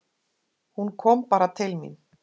Hún kom bara til mín.